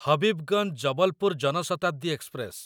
Habibganj Jabalpur Jan Shatabdi express